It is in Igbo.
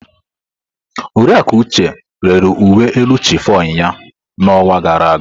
Oriakụ Uche rere uwe elu chiffon ya n'ọnwa gara aga.